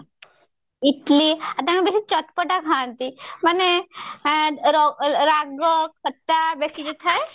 ଇଟିଲି ଆଉ ତାଙ୍କ ସେଠି ଚଟପଟା ଖାନ୍ତି ମାନେ ଓ ଏ ର ରାଗ ଖଟା ବେଶିକିରି ଥାଏ